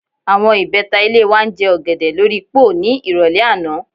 Àwo̩n ìbé̩ta ilé wa ń je̩ ò̩gè̩dè̩ lórí póò ní ìrò̩lé̩ àná